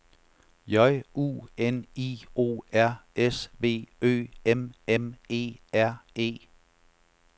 J U N I O R S V Ø M M E R E